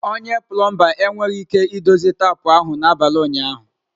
Onye plomba enweghị ike idozi tapu ahụ n'abalị ụnyaahụ.